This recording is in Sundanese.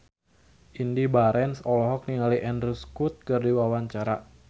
Indy Barens olohok ningali Andrew Scott keur diwawancara